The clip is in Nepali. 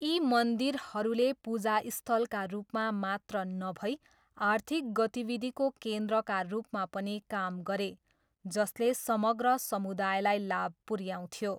यी मन्दिरहरूले पूजास्थलका रूपमा मात्र नभई आर्थिक गतिविधिको केन्द्रका रूपमा पनि काम गरे, जसले समग्र समुदायलाई लाभ पुऱ्याउँथ्यो।